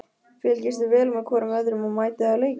Fylgist þið vel með hvorum öðrum og mætið á leiki?